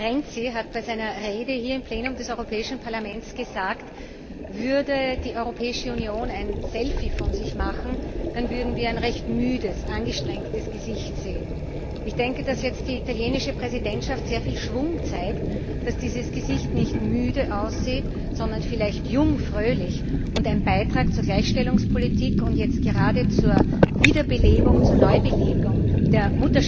Ministerpräsident Renzi hat bei seiner Rede hier im Plenum des Europäischen Parlaments gesagt Würde die Europäische Union ein Selfie von sich machen, dann würden wir ein recht müdes, angestrengtes Gesicht sehen. Ich denke, dass jetzt die italienische Ratspräsidentschaft sehr viel Schwung zeigt, dass dieses Gesicht nicht müde aussieht, sondern vielleicht jung und fröhlich und ein Beitrag zur Gleichstellungspolitik und gerade zur Wiederbelebung, zur Neubelebung der